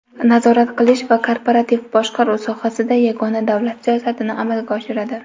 nazorat qilish va korporativ boshqaruv sohasida yagona davlat siyosatini amalga oshiradi.